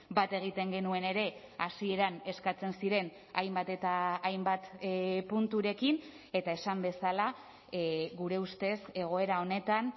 bat egiten genuen ere hasieran eskatzen ziren hainbat eta hainbat punturekin eta esan bezala gure ustez egoera honetan